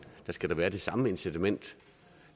skal der være det samme incitament